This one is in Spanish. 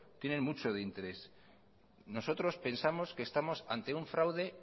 tienen mucho de interés nosotros pensamos que estamos ante un fraude